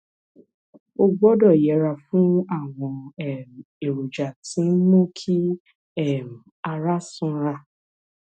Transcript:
o gbọdọ yẹra fún àwọn um èròjà tí ń mú kí um ara sanra